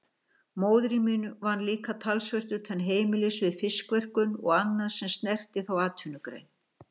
Móðir mín vann líka talsvert utan heimilisins við fiskverkun og annað sem snerti þá atvinnugrein.